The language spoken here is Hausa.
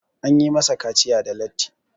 an yi masa kaciya da latti